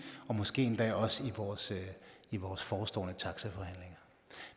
måske endda også også i vores forestående taxaforhandlinger